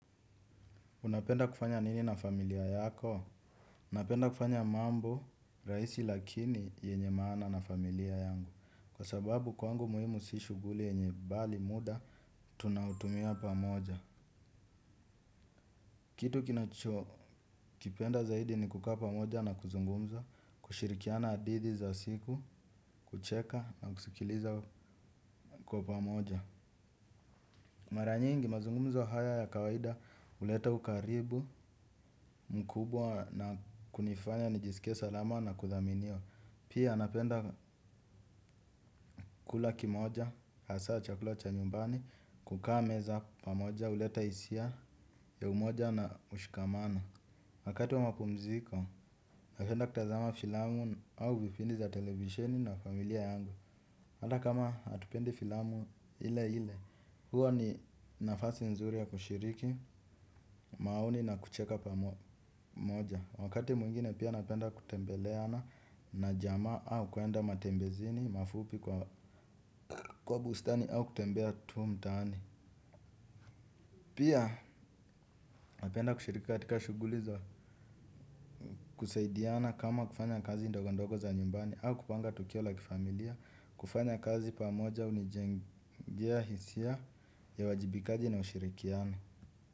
Unapenda kufanya nini na familia yako? Napenda kufanya mambo, rahisi lakini yenye maana na familia yangu. Kwa sababu kwangu muhimu si shughuli yenye bali muda, tunaotumia pamoja. Kitu kinacho kipenda zaidi ni kukaa pamoja na kuzungumza, kushirikiana hadithi za siku, kucheka na kusikiliza kwa pamoja. Mara nyingi mazungumzo haya ya kawaida huleta ukaribu mkubwa na kunifanya nijisikie salama na kudhaminiwa. Pia napenda kula kimoja, hasa chakula cha nyumbani, kukaa meza pamoja huleta hisia ya umoja na mshikamano. Wakati wa mapumziko, napenda kutazama filamu au vipindi za televisheni na familia yangu. Hata kama hatupendi filamu ile ile, huo ni nafasi nzuri ya kushiriki, maoni na kucheka pamoja. Wakati mwingine pia napenda kutembeleana na jamaa au kuenda matembezini, mafupi kwa bustani au kutembea tu mtaani. Pia napenda kushiriki katika shughuli za kusaidiana kama kufanya kazi ndogondogo za nyumbani au kupanga tukio la kifamilia. Kufanya kazi pamoja hunijengia hisia ya uwajibikaji na ushirikiano.